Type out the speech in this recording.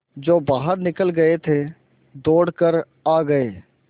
जो बाहर निकल गये थे दौड़ कर आ गये